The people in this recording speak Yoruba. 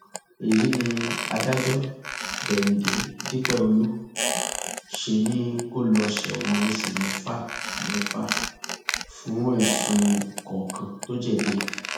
èyí ni adájọ déhìndé dípẹọlù ṣe ni kó lọá ṣẹwọn oṣù mẹfàmẹfà fún ẹsùn kọọkan tó jẹbi ẹ